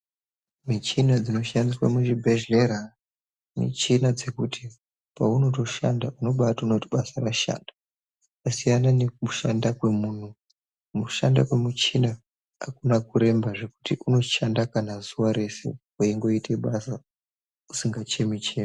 Michina dzinoshandiswa muzvibhehlera, michina dzekuti paunotoshanda unobaatoona kuti basa rashandwa kwasiyana nekushanda kwemunhu. Kushanda kwemuchina hakuna kuremba zvekuti unoshanda kana zuva rese weingoite basa, usingachemi-chemi.